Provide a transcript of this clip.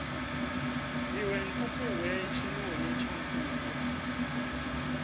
iwe nkukuwe tshinoni tsha nkuku